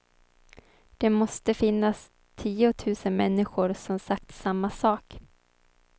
Det måste finnas tiotusen människor som sagt samma sak.